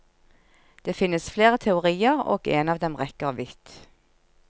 Det finnes flere teorier, og en av dem rekker vidt.